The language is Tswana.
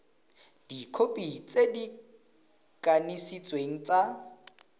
dikhopi tse di kanisitsweng tsa